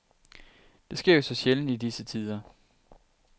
Det sker jo så sjældent i disse tider.